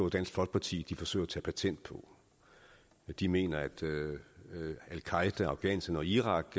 at dansk folkeparti forsøger at tage patent på det de mener at al qaeda afghanistan og irak